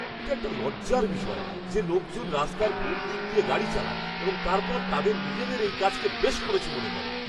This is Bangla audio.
এটা একটা লজ্জার বিষয় যে লোকজন রাস্তার ভুল দিক দিয়ে গাড়ি চালায় এবং তারপর তাদের নিজেদের এই কাজকে বেশ করেছে মনে করে!